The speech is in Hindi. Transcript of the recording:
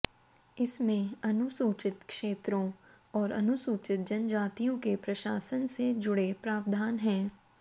इसमें अनुसूचित क्षेत्रों और अनुसूचित जनजातियों के प्रशासन से जुड़े प्रावधान हैं